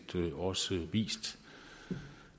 også vist